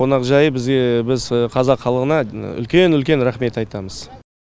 қонақжайы бізге біз қазақ халқына үлкен үлкен рахмет айтамыз